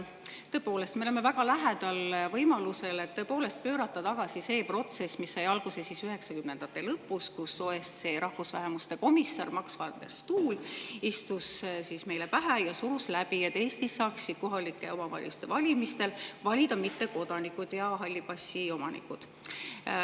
Tõepoolest, me oleme väga lähedal võimalusele pöörata tagasi see protsess, mis sai alguse 1990-ndate lõpus, kui OSCE rahvusvähemuste komissar Max van der Stoel istus meile pähe ja surus läbi, et Eestis saaksid kohalike omavalitsuste valimistel valida ka mittekodanikud ja halli passi omanikud.